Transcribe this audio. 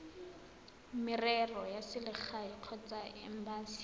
merero ya selegae kgotsa embasi